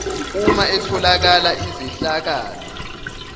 uma etholakala izehlakalo